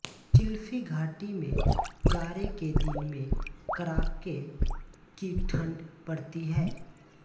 चिल्फी घाटी मे जाड़े के दिन मे कड़ाके की ठंड पड़ती है